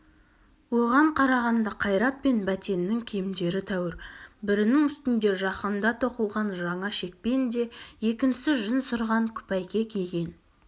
оған қарағанда қайрат пен бәтеннің киімдері тәуір бірінің үстінде жақында тоқылған жаңа шекпен де екіншісі жүн сырған күпәйке киген